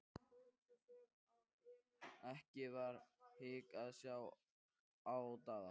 Ekki var hik að sjá á Daða.